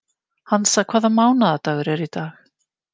Hansa, hvaða mánaðardagur er í dag?